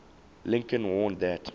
lincoln warned that